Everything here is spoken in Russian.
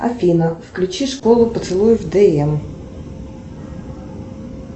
афина включи школа поцелуев дм